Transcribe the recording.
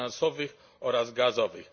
finansowych oraz gazowych.